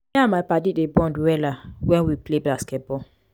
me and my paddy dem dey bond wella wen we play basket ball.